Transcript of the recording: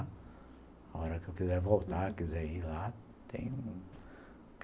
A hora que eu quiser voltar, quiser ir lá, tenho.